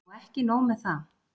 OG EKKI NÓG með það!